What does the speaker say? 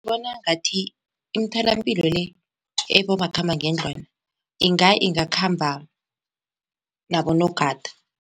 Ngibona ngathi imtholampilo le ebomakhamba ngendlwana inga ingakhamba nabonogada.